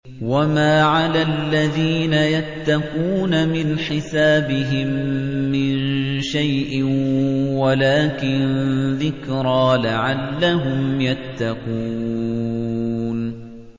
وَمَا عَلَى الَّذِينَ يَتَّقُونَ مِنْ حِسَابِهِم مِّن شَيْءٍ وَلَٰكِن ذِكْرَىٰ لَعَلَّهُمْ يَتَّقُونَ